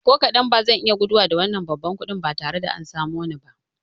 Ko kaɗan, bazan iya guduwa da wannan babban kuɗin ba tare da an samo ni ba